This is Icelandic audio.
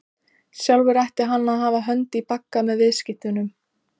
Sjálfur ætti hann að hafa hönd í bagga með viðskiptunum.